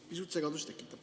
Pisut segadust tekitav.